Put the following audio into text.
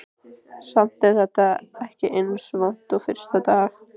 Samt er þetta ekki eins vont og fyrstu dagana.